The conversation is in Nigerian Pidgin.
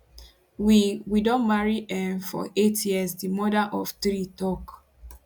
we we don marry um for eight years di mother of three tok